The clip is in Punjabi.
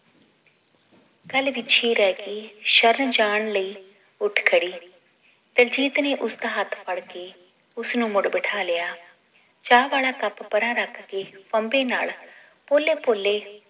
ਗੱਲ ਵਿੱਚੇ ਈ ਰਹਿ ਗਈ ਸ਼ਰਨ ਜਾਨ ਲਈ ਉੱਠ ਖੜੀ ਦਿਲਜੀਤ ਨੇ ਉਸਦਾ ਹੱਥ ਫੜ ਕੇ ਉਸਨੂੰ ਮੁੜ ਬਿਠਾ ਲਿਆ ਚਾਅ ਵਾਲਾ ਕੱਪ ਪਰਾਂ ਰੱਖ ਕੇ ਫੰਬੇ ਨਾਲ ਪੋਲੇ ਪੋਲੇ